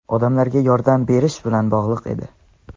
"odamlarga yordam berish" bilan bog‘liq edi.